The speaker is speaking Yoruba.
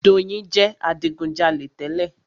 Doyin jẹ adigujalè tẹ́lẹ̀.